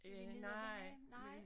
Er vi nede ved havnen nej